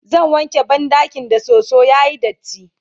zan wanke banɗakin da soso yayi datti